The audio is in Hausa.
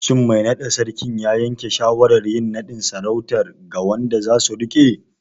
Shin mai naɗa Sarkin ya yanke shawarar yin naɗin sarautar ga wanda zasu riƙe?